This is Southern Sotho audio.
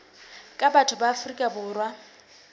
ka batho ba afrika borwa